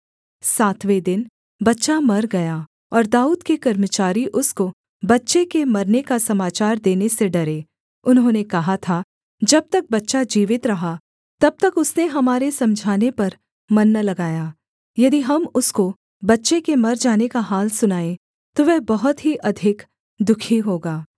सातवें दिन बच्चा मर गया और दाऊद के कर्मचारी उसको बच्चे के मरने का समाचार देने से डरे उन्होंने कहा था जब तक बच्चा जीवित रहा तब तक उसने हमारे समझाने पर मन न लगाया यदि हम उसको बच्चे के मर जाने का हाल सुनाएँ तो वह बहुत ही अधिक दुःखी होगा